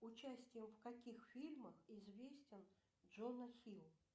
участием в каких фильмах известен джонна хилл